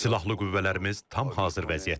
Silahlı qüvvələrimiz tam hazır vəziyyətdədir.